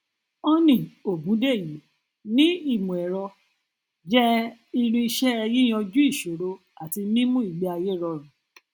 honey ògúndèyí ní ìmọẹrọ jẹ irinṣẹ yíyanjú ìṣòro àti mímú ìgbéayé rọrùn